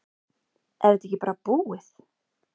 Er þetta ekki bara búið?